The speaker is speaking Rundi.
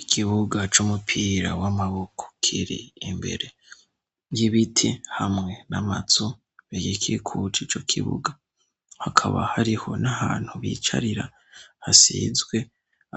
Igibuga c'umupira w'amaboko kiri imbere y'ibiti hamwe n'amatsu begikikuca ico kibuga hakaba hariho n'ahantu bicarira hasizwe